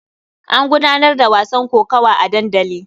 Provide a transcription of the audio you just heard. An gudanar da wasan kokawa a dandali.